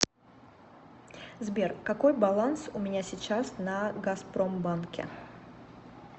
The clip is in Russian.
сбер какой баланс у меня сейчас на газпромбанке